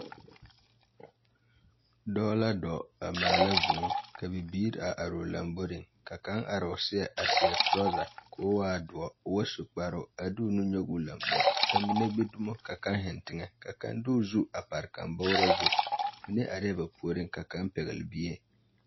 Dͻͻ la dͻͻŋ a maala vũũ ka bibiiri a are o lomboriŋ. Ka kaŋ a are o seԑŋ a seԑ torͻͻza koo waa dõͻ o ba su kparoŋ, a de o nu nyͻge o lambori. Ka mine gbi dumo ka kaŋ zeŋ teŋԑ, ka kaŋ de o zu a pare kaŋ bͻgerͻ zu. Mine arԑԑ ba puoriŋ ka kaŋ pԑgele bie.